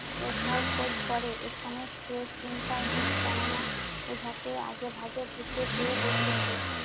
ওঝার খোঁজ করে। এখানে সে চিন্তাই নেই। কেননা ওঝাকে আগেভাগে ভুতে পেয়ে বসেছে।